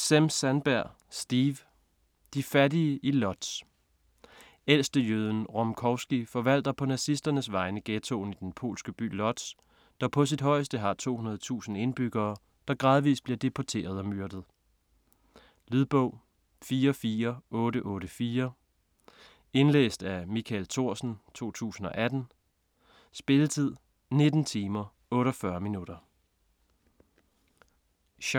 Sem-Sandberg, Steve: De fattige i Lodz Ældstejøden Rumkowski forvalter på nazisternes vegne ghettoen i den polske by Lodz, der på sit højeste har 200.000 indbyggere, der gradvist bliver deporteret og myrdet. Lydbog 44884 Indlæst af Michael Thorsen, 2018. Spilletid: 19 timer, 48 minutter.